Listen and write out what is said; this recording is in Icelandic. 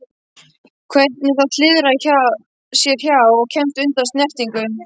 Hvernig það hliðrar sér hjá og kemst undan snertingu.